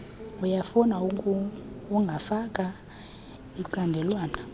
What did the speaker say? uyafuna ungafaka icandelwana